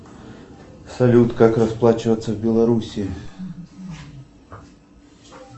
салют как расплачиваться в белоруссии